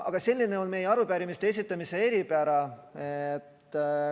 Aga selline on meie arupärimiste esitamise eripära.